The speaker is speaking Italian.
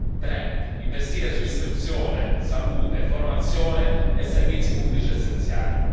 3 investire su istruzione, salute, formazione e servizi pubblici essenziali